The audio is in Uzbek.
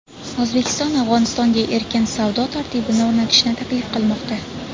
O‘zbekiston Afg‘onistonga erkin savdo tartibini o‘rnatishni taklif qilmoqda.